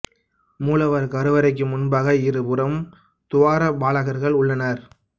மூலவர் கருவறைக்கு முன்பாக இரு புறமும் துவார பாலகர்கள் உள்ளனர்